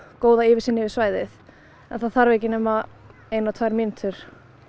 góða yfirsýn yfir svæðið en það þarf ekki nema eina tvær mínútur